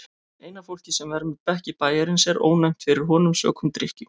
Eina fólkið sem vermir bekki bæjarins er ónæmt fyrir honum sökum drykkju.